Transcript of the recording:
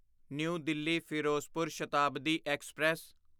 new Delhi Firozpur Shatabdi express